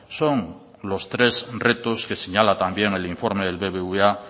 son los tres retos que señala también el informe del bbva